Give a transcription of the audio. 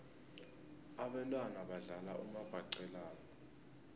abentwana badlala umabhaqelana